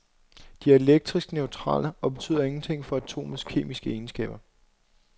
De er elektrisk neutrale og betyder ingenting for atomets kemiske egenskaber.